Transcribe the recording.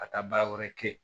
Ka taa baara wɛrɛ kɛ yen